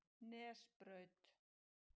Nesbraut